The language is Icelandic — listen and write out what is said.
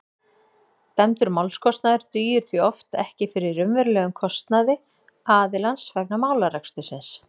dæmdur málskostnaður dugir því oft ekki fyrir raunverulegum kostnaði aðilans vegna málarekstursins